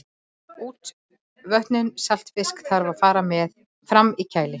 útvötnun saltfisks þarf að fara fram í kæli